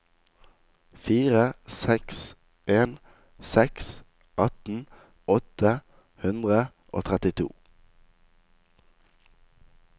fire seks en seks atten åtte hundre og trettito